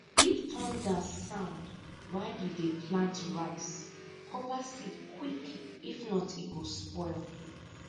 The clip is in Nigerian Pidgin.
if thunder sound while you dey plant rice cover seed quick if not e go spoil